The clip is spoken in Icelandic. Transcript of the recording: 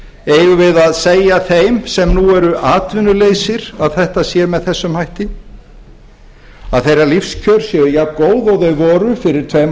eigum við að segja þeim sem nú eru atvinnulausir að þetta sé með þessum hætti að þeirra lífskjör séu jafngóð og þau voru fyrir tveim